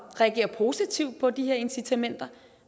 reagerer positivt på de her incitamenter